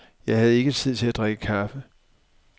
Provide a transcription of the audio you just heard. Jeg havde ikke tid til at drikke kaffe.